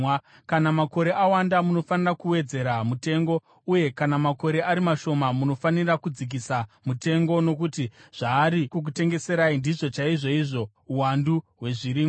Kana makore awanda, munofanira kuwedzera mutengo, uye kana makore ari mashoma, munofanira kudzikisa mutengo, nokuti zvaari kukutengeserai ndizvo chaizvoizvo uwandu hwezvirimwa.